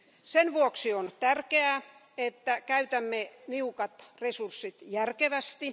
Sen vuoksi on tärkeää, että käytämme niukat resurssit järkevästi.